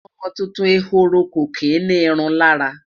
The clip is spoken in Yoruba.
ọmọ tuntun ehoro kò kí ni irun lára